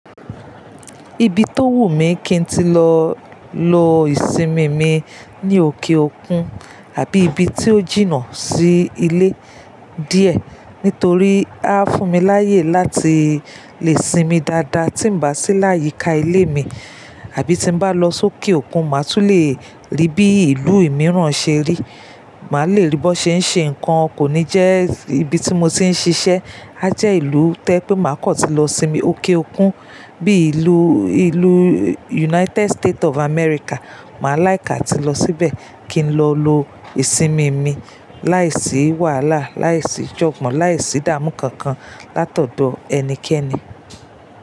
Ibi tó wù mí kí n tí lọ lo ìsinmi mi ní òkè òkun, àbí ibi tí ó jìnnà sí ilé díẹ̀. Nítorí á fún mi láyè láti lè sinmi dáadáa tí m bá sí láyìíká ilé mi, àbí tí mo bá lọ sókè òkun, màá tún lè rí bí ìlú imìíràn ṣe rí. Màá lè rí bó ṣe ń ṣe ǹkan kò ní jẹ́ ibi tí mo ti ń ṣiṣẹ́. A jẹ ìlú tó yẹ́ pé màá kọ̀ tí lọ sinmi òkè òkun. Bí i ìlú, ìlú United State of America, màá like atí lọ síbẹ̀ kí n lọ lo ìsinmi mi láìsí wàhálà, láìsí jọ̀gbọ̀n, láìsí dáàmú kankan látọ̀dọ̀ ẹnikẹ́ni.